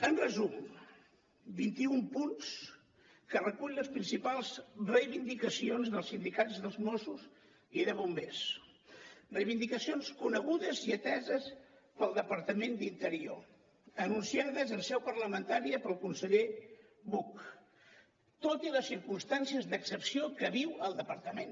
en resum vint i un punts que recullen les principals reivindicacions dels sindicats dels mossos i de bombers reivindicacions conegudes i ateses pel departament d’interior anunciades en seu parlamentària pel conseller buch tot i les circumstàncies d’excepció que viu el departament